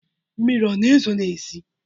Mmiri ọ na-ezo n’ezi?